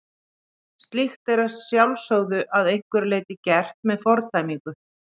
Slíkt er að sjálfsögðu að einhverju leyti gert með fordæmingu.